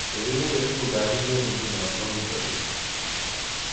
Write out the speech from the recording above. chorik koibe uguk ab bik eng nguno ko wui sabet